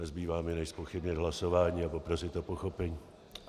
Nezbývá mi než zpochybnit hlasování a poprosit o pochopení.